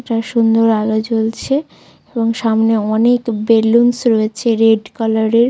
একটা সুন্দর আলো জ্বলছে এবং সামনে অনেক বেলুনস রয়েছে রেড কালারের ।